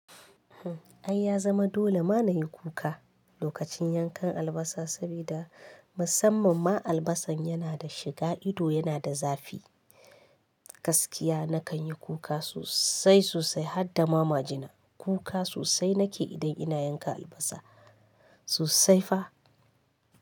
Ai ya zama dole ma na yi kuka lokacin yankan albasa saboda musamman ma albasan yana da shiga ido yana da zafi, gaskiya na kan yi kuka sosai sosai hadda ma majina kuka sosai na ke idan ina yanka albasa sosai fa.